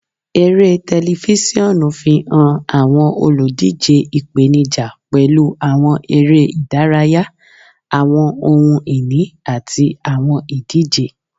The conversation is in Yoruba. Ere tẹlifisiọnu fihan awọn oludije ipenija pẹlu awọn ere-idaraya, awọn ohun-ini, ati awọn idije.